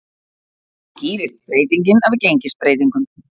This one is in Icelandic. Skýrist breytingin af gengisbreytingum